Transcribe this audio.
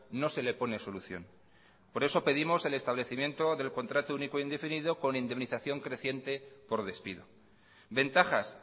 no se le pone solución por eso pedimos el establecimiento del contrato único indefinido con indemnización creciente por despido ventajas